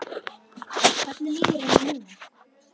Hvernig líður henni núna?